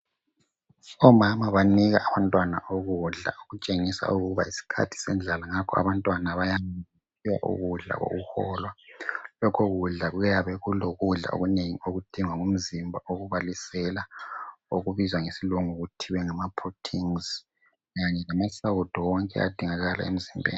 Omama banika abantwana ukudla okutshengisa ukuba yisikhathi sendlala ngakho abantwana bayanikwa ukudla kokuholwa. Lokho kudla kuyabe kulokudla okunengi okudingwa ngumzimba okubalisela okubizwa ngesilungu okuthiwa ngamaproteins kanye lamasawudo wonke adingakala emzimbeni.